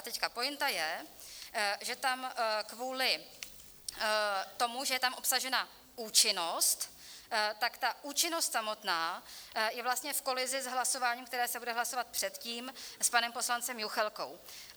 A teď pointa je, že tam kvůli tomu, že je tam obsažena účinnost, tak ta účinnost samotná je vlastně v kolizi s hlasováním, které se bude hlasovat předtím s panem poslancem Juchelkou.